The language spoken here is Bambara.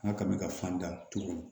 N ka kaba ka fan da tu